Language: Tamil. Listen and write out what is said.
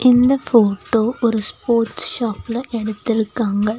இந்த போட்டோ ஒரு ஸ்போர்ட்ஸ் ஷாப்ல எடுத்திருக்காங்க.